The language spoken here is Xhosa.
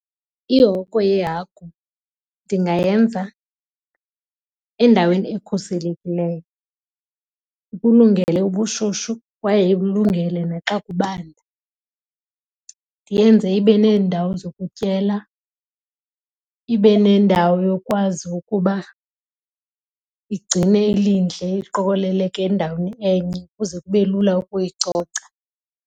Ihoko yeehagu ndingayenza endaweni ekhuselekileyo ikulungele ubushushu kwaye ikulungele naxa kubanda. Ndiyenze ibe neendawo zokutyela ibe nendawo yokwazi ukuba igcine ilindle iliqokeleleke endaweni enye ukuze kube lula ukuyicoca.